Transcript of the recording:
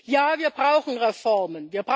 Ja, wir brauchen Reformen.